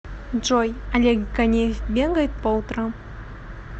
джой олег ганеев бегает по утрам